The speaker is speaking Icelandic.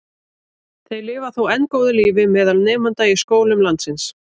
Þeir lifa þó enn góðu lífi meðal nemenda í skólum landsins.